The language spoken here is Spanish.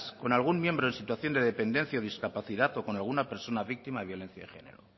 con algún miembro en situación de dependencia o discapacidad o con alguna persona víctima de violencia de género